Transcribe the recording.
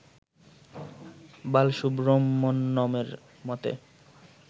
বালসুব্রহ্মণ্যমের মতে